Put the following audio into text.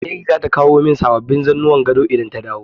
Mary zata kawo min sababbin zannuwan gado idan ta dawo.